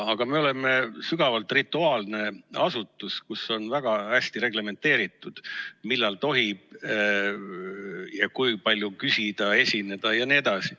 Aga me oleme sügavalt rituaalne asutus, kus on väga hästi reglementeeritud, millal tohib ja kui palju küsida, esineda jne.